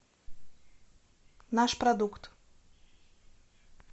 наш продукт